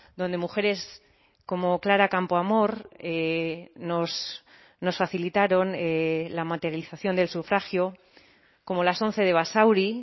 donde mujeres como clara campoamor nos facilitaron la materialización del sufragio como las once de basauri